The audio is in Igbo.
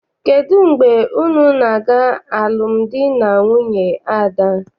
Kedụ mgbe unu na-aga alụmdi na nwunye Ada?